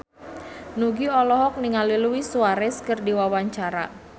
Nugie olohok ningali Luis Suarez keur diwawancara